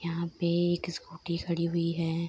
यहाँ पे एक स्कूटी खड़ी हुई है।